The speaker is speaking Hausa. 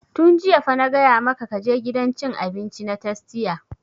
Tun jiya fa na gaya maka ka je gidan cin abinci na tastia!